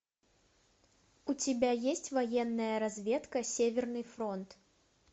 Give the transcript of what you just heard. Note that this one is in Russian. у тебя есть военная разведка северный фронт